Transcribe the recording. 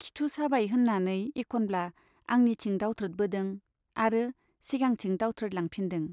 खिथु साबाय होन्नानै एख'नब्ला आंनिथिं दावथ्रोदबोदों आरो सिगांथिं दावथ्रोदलांफिनदों।